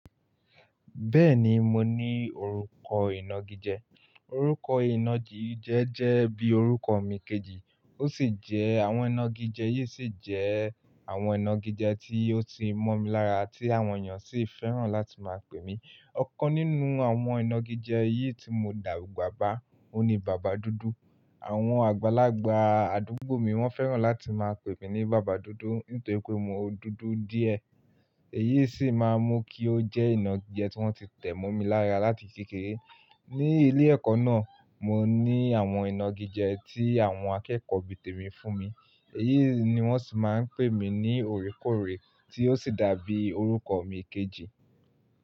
Bẹ́ẹ̀ni mo ní orúkọ ìnagijẹ, orúkọ ìnagijẹ jẹ́ bí orúkọ mi kejì, ó sì jẹ́ àwọn ìnagijẹ yìí sì jẹ́ àwọn ìnagijẹ tí ó ti mọ̀ mi lára tí àwọn èèyàn sì fẹ́ràn láti máa pè mí. Ọ̀kan nínú àwọn ìnagijẹ yìí tí mo dàgba bá, òhun ni bàbá dúdú. Àwọn àgbàlagbà àdúgbò mi wọ́n fẹ́ràn láti máa pè mí ní bàbá dúdú nítorí pé mo dúdú díẹ̀. Èyí sì máa mú kí ó jẹ́ ìnagijẹ tí wọ́n ti tẹ̀ mọ́ mi lára láti kékeré. Ni ilé ẹ̀kọ́ náà, mo ní àwọn ìnagijẹ tí àwọn akẹ́kọ̀ọ́ bí tèmi fún mi, èyí ni wọ́n sì máa ń pè mí ní oòrekóorè tí ó sì dàbí orúkọ mi kejì.